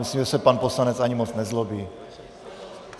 Myslím, že se pan poslanec ani moc nezlobí.